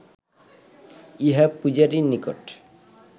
ইহা পূজারীর নিকট